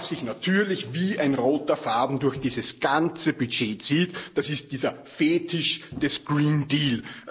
Und was sich natürlich wie ein roter Faden durch dieses ganze Budget zieht, das ist dieser Fetisch des Green Deal